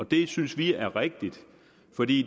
det synes vi er rigtigt fordi